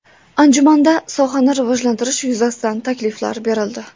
Anjumanda sohani rivojlantirish yuzasidan takliflar berildi.